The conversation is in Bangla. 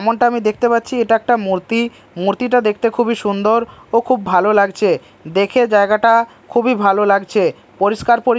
যেমনটা আমি দেখতে পাচ্ছি এটা একটা মূর্তি মূর্তিটা দেখতে খুবই সুন্দর ও খুব ভালো লাগছে দেখে জায়গাটা খুবই ভালো লাগছে পরিষ্কার পরি--